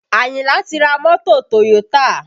Ayinla ti ra mọ́tò Toyota